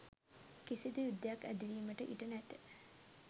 කිසිදු යුද්ධයක් ඇති වීමට ඉඩ නැත.